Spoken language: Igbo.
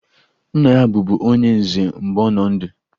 Nna ya bụbu onye nze mgbe ọ nọ ndụ